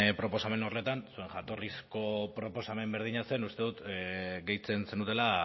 proposamen horretan zuen jatorrizko proposamen berdina zen uste dut gehitzen zenutela